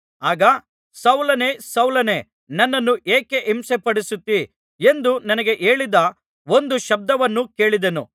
ಆಗ ಸೌಲನೇ ಸೌಲನೇ ನನ್ನನ್ನು ಏಕೆ ಹಿಂಸೆಪಡಿಸುತ್ತೀ ಎಂದು ನನಗೆ ಹೇಳಿದ ಒಂದು ಶಬ್ದವನ್ನು ಕೇಳಿದೆನು